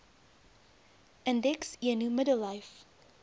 indeks eno middellyf